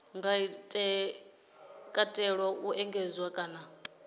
nga katela u engedzedzwa kana